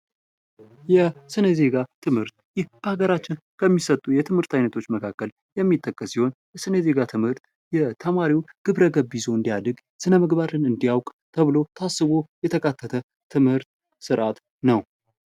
የስነ ዜጋ ትምህርት ይህ በአገራችን ከሚሰጡ የትምህርት አይነቶች መካከል የሚጠቀስ ሲሆን የስነ ዜጋ ትምህርት ተማሪው ግብረ ገብ ይዞ እንዲያደርግ ስነምግባርን እንዲያውቅ ተብሎ ታስቦ የተካተተ የትምህርት ስርዓት ነው።